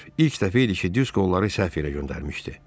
İlk dəfə idi ki, Disko onları səhv yerə göndərmişdi.